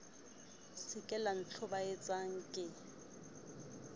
se ke la ntlhobaetsa ke